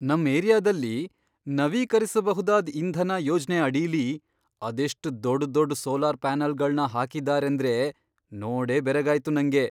ನಮ್ ಏರಿಯಾದಲ್ಲಿ ನವೀಕರಿಸಬಹುದಾದ್ ಇಂಧನ ಯೋಜ್ನೆ ಅಡಿಲಿ ಅದೆಷ್ಟ್ ದೊಡ್ಡ್ ದೊಡ್ಡ್ ಸೋಲಾರ್ ಪ್ಯಾನಲ್ಗಳ್ನ ಹಾಕಿದಾರೇಂದ್ರೆ, ನೋಡೇ ಬೆರಗಾಯ್ತು ನಂಗೆ.